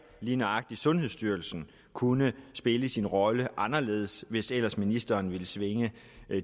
at lige nøjagtig sundhedsstyrelsen kunne spille sin rolle anderledes hvis ellers ministeren ville svinge